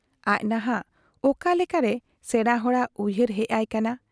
ᱟᱡ ᱱᱷᱟᱜ ᱚᱠᱟ ᱞᱮᱠᱟᱨᱮ ᱥᱮᱬᱟ ᱦᱚᱲᱟᱜ ᱩᱭᱦᱟᱹᱨ ᱦᱮᱡ ᱟᱭ ᱠᱟᱱᱟ ?